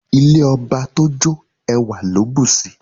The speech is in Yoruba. Ile ọba to jo, ẹwa lo busi